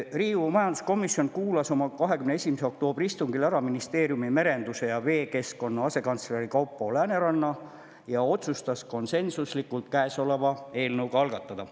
Riigikogu majanduskomisjon kuulas oma 21. oktoobri istungil ära ministeeriumi merenduse ja veekeskkonna asekantsleri Kaupo Lääneranna ja otsustas konsensuslikult käesoleva eelnõu algatada.